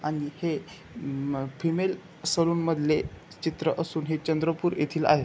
आणि हे अ फिमेल सलून मधले चित्र असून हे चंद्रपूर येथिल आहे.